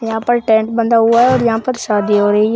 यहां पर टेंट बंधा हुआ है और यहां पर शादी हो रही है।